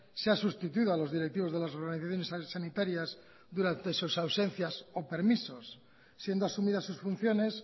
se han sustituido a los directivos de las organizaciones sanitarias durante sus ausencias o permisos siendo asumidas sus funciones